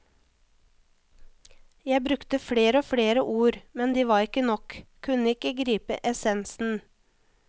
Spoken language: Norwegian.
Jeg brukte flere og flere ord, men de var ikke nok, kunne ikke gripe essensen.